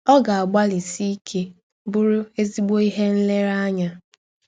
Ọ ga - agbalịsi ike bụrụ ezịgbọ ihe nlereanya.